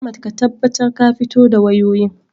Ahmad ka tabbatar ka fito da wayoyin.